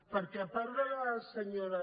perquè a part de la senyora